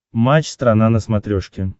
матч страна на смотрешке